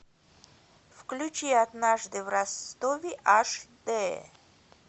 включи однажды в ростове аш дэ